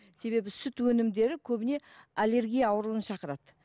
себебі сүт өнімдері көбіне аллергия ауруын шақырады